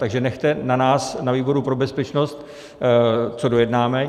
Takže nechte na nás, na výboru pro bezpečnost, co dojednáme.